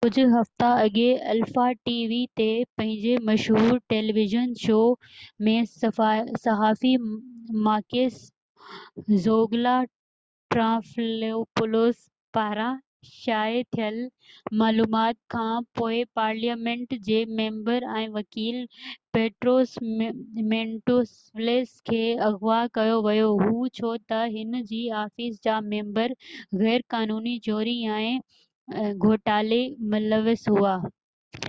ڪجھه هفتا اڳي الفا ٽي وي تي پنهنجي مشهور ٽيليويزن شو zoungla ۾ صحافي ماڪيس ٽرانٽيفلوپولوس پاران شايع ٿيل معلومات کان پوءِ پارليامينٽ جي ميمبر ۽ وڪيل پيٽروس مينٽويلس کي اغوا ڪيو ويو هو ڇو ته هن جي آفيس جا ميمبر غير قانوني چوري ۽ گهوٽالي ملوث هئا